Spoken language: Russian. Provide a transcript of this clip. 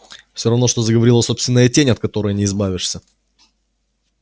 всё равно что заговорила собственная тень от которой не избавишься